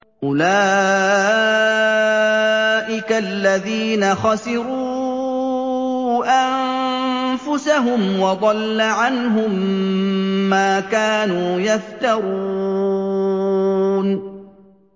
أُولَٰئِكَ الَّذِينَ خَسِرُوا أَنفُسَهُمْ وَضَلَّ عَنْهُم مَّا كَانُوا يَفْتَرُونَ